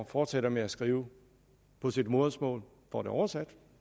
fortsætter med at skrive på sit modersmål får det oversat